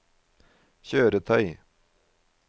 kjøretøy